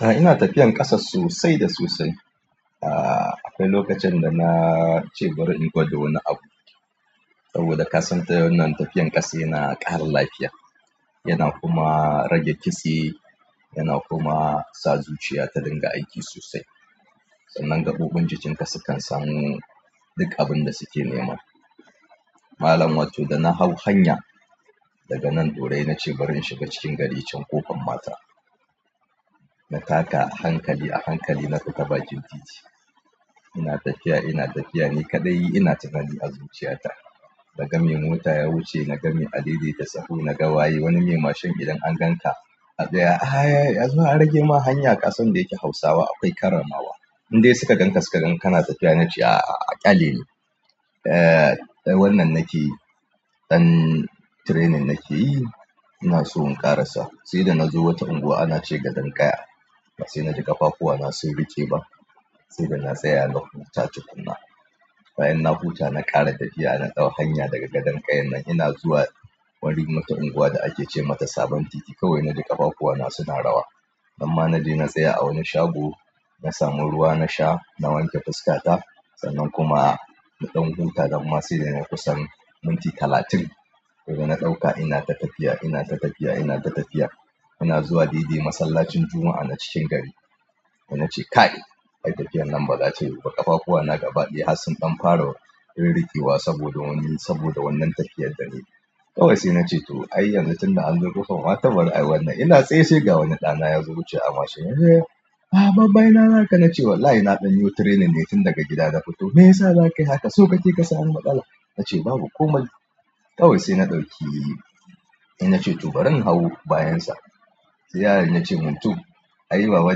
A ina tafiyan ƙasa sosai da sosai. A'a akwai lokacin da na ce bari in gwada wani abu. Saboda ka san ta wannan tafiyan ƙasa yana ƙara lafiya. Yana kuma rage kitse, yana kuma sa zuciya ta dinga aiki sosai. Sannan gaɓoɓin jikinka sukan samu duk abin da suke nema. Malam wato da na hau hanya daga nan dorayi na ce bari in shiga cikin gari can ƙofar mata. Na taka a hankali a hankali na fita bakin titi. Ina tafiya ina tafiya ni kaɗai ina tunani a zuciyata. Na ga mai mota ya wuce, na ga mai a daidaita sahu, na ga waye wani mai mashin idan an gan ka a tsaye, "Ai a zo a rage ma hanya ƙasan da yake Hausawa akwai karramawa." Indai suka gan ka suka gan ka na tafiya na ce a'a a ƙyale ni. Eeh dan wannan nake dan training nake yi. Ina so in ƙara sa. Sai da na zo wata unguwa ana ce gadon ƙaya. Ba sai na ji ƙafafuwana sun riƙe ba. Sai da na tsaya na huta tukuna. Bayan na huta na ƙara tafiya na ɗau hanya daga gadon ƙayan nan ina zuwa wani wata unguwa da ake ce mata Sabon Titi. Kawai naji ƙafafuwana suna rawa. Amma na je na tsaya a wani shago, na samu ruwa na sha, na wanke fuskata. Sannan kuma na ɗan huta nan ma sai da nai kusan minti talatin. Daga na ɗauka ina ta tafiya, ina ta tafiya, ina ta tafiya. Ina zuwa dai dai masallacin Juma'a na cikin gari. Sai nace kai ai tafiyan nan ba za ta yiwu ba ƙafafuwana gaba ɗaya har sun fara ririkewa saboda wani saboda wannan tafiyar da nai. Kawai sai na ce to ai yanzu tunda an zo ƙofar ma to bari ai wannan ina tsaye sai ga wani ɗana ya zo wucewa a mashin yace, "A baba ina haka?" Na ce wallahi na ɗan yiwo training ne tun daga gida da fito. Me yasa za ka yi haka so kake ka sami matsala na ce babu komai. Kawai sai na ɗauki. Sai na ce to bari in hau bayansa sai yaron yace min to "ai baba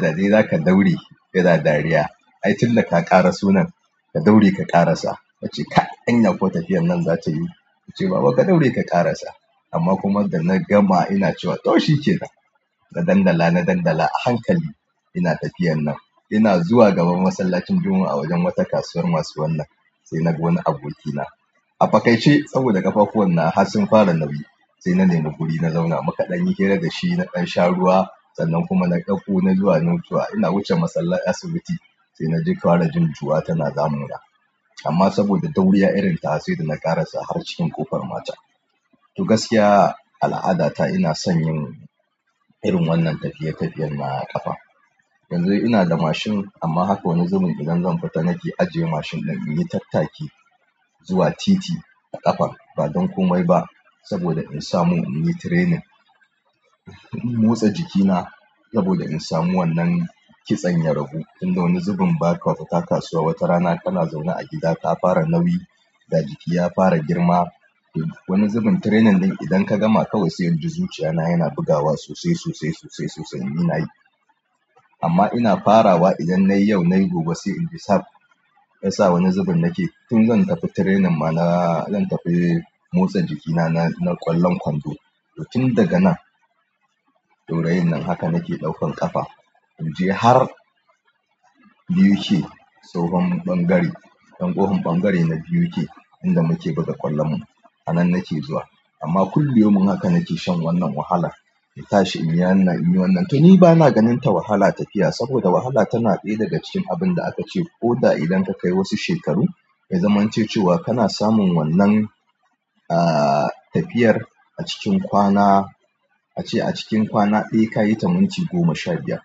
da dai zaka daure kana dariya ai tun da ka ƙaraso nan ka daure ka ƙara sa." Na ce kai anya kuwa tafiyan nan za ta yiwu. Ya ce baba ka daure ka ƙara sa. Amma kuma da na gama ina cewa to shi ke nan. Na dandala na dandala a hankali ina tafiyan nan. Ina zuwa gaban masallacin Juma'a a wajen wata kasuwar masu wannan. Sai naga wani abokina a fakai ce saboda ƙafafuwan nawa har sun fara nauyi. Sai na nema guri na zauna mu kaɗan yi hira da shi na dan sha ruwa. Sannan kuma na ɗauko na zuwa na nutsuwa. Ina wuce masallan asibiti. Sai na ji ƙara jin cuwa tana damuna. Amma saboda dauriya irin tawa sai da na ƙara sa har cikin ƙofar mata. To gaskiya al'adata ina son yin irin wannan tafiye tafiyen na ƙafa. Yanzun ina da mashin amma haka wani zubin idan zan fita nake ajiye mashin din inyi tattaki zuwa titi a ƙafa. Ba don komai ba saboda in samu in yi training. In motsa jikina saboda in samu wannan kitsen ya ragu. Tunda wani zubin ba ka fita kasuwa wata rana kana zaune a gida ka fara nauyi ga jiki ya fara girma. To wani zubin training ɗin idan ka gama kawai sai in ji zuciya na yana bugawa sosai sosai sosai sosai in nayi. Amma ina farawa idan na yi yau na yi gobe sai in ji sab yasa wani zubin nake? Tun zan tafi training ma na zan tafi motsa jikina na na ƙwallon kwando. To tun daga nan, ɗaurayin nan haka nake ɗaukan ƙafa. In je har BUK tsohon ɓangare. Ɗan ƙohin ɓangare na BUK inda muke buga ƙwallon mu. Hanan nake zuwa. Amma kulliyomin haka nake shan wannan wahala. Na tashi in ya nan in yi wannan. To ni ba na ganin ta wahala tafiya saboda wahala tana ɗaya daga cikin abin da aka ce ko da idan ka kai wasu shekaru, ya zamanto cewa kana samun wannan aah tafiyar a cikin kwana. A ce a cikin kwana ɗaya ka yi ta minti goma sha biyar.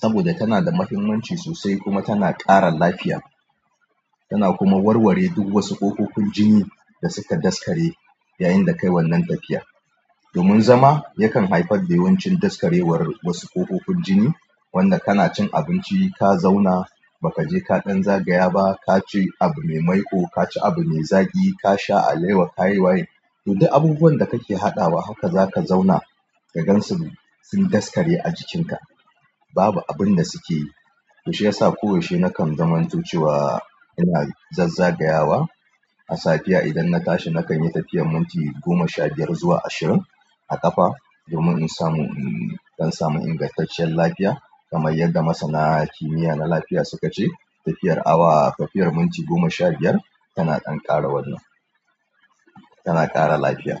Saboda tana da mahimmanci sosai kuma tana ƙara lafiya. Tana kuma warware duk wasu ƙofofin jini da suka daskare yayin da ka yi wannan tafiya. Domin zama yakan haifar da yawancin daskarewar wasu ƙofofin jini. Wanda kana cin abinci ka zauna ba ka je ka dan zagaya ba ka ci abu me maiƙo, ka ci abu me zagi, ka sha alewa, ka yi waye. To duk abubuwan da kake haɗawa haka za ka zauna ka gansu sun daskare a jikinka. Babu abin da suke yi. To shi ya sa ko yaushe nakan zamanto cewa ina zazzagayawa. A safiya idan na tashi na kan yi tafiyar minti goma sha biyar zuwa ashirin a ƙafa domin in samu in in don samu ingantaccen lafiya. Kamar yadda masana kimiya na lafiya suka ce tafiya awa tafiyar minti goma sha biyar tana dan ƙara wannan tana ƙara lafiya.